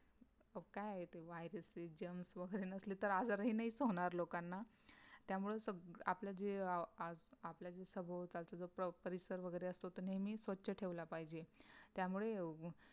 मग काय आहे ते VIRUS आहे GERMS वगैरे नसली तर आजार हि नाहीच होणार लोकांना. त्यामुळे आ आपल्या जे आपल्या जे सभोवतालचा जो परिसर असतो तो नेहमी स्वच्छ ठेवला पाहिजे त्यामुळे